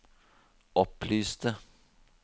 opplyste